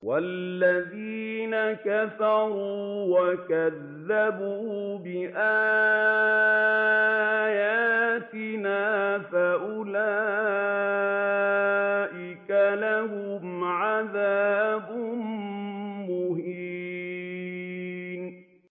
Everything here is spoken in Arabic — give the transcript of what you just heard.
وَالَّذِينَ كَفَرُوا وَكَذَّبُوا بِآيَاتِنَا فَأُولَٰئِكَ لَهُمْ عَذَابٌ مُّهِينٌ